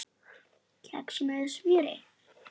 Kex með smjöri